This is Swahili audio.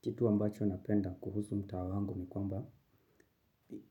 Kitu ambacho napenda kuhusu mtaa wangu ni kwamba